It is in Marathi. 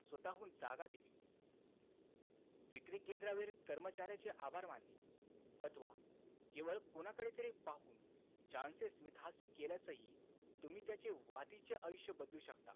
स्वतःहुन जागा दिली. विक्री केंद्रावेरीत कर्मचाऱ्याचे आभार मानले अथवा केवळ कोणाकडे तरी पाहून छानसे स्मितहास्य केल्यासही तुम्ही त्याचे वातीचे आयुष्य बदलू शकतात.